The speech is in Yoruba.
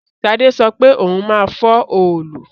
Sade sọ pé òun máa fọ́ òòlù